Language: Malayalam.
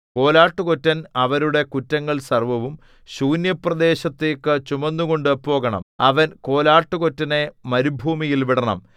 കോലാട്ടുകൊറ്റൻ അവരുടെ കുറ്റങ്ങൾ സർവ്വവും ശൂന്യപ്രദേശത്തേക്കു ചുമന്നുകൊണ്ടു പോകണം അവൻ കോലാട്ടുകൊറ്റനെ മരുഭൂമിയിൽ വിടണം